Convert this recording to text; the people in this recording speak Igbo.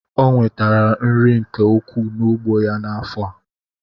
Onwetere nri nke ukwu na ugbo ya na afọa.